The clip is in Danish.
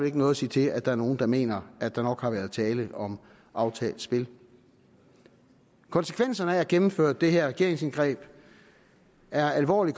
ikke noget sige til at der er nogle der mener at der nok har været tale om aftalt spil konsekvenserne af at gennemføre det her regeringsindgreb er alvorlige